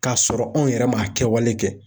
K'a sɔrɔ anw yɛrɛ ma kɛwale kɛ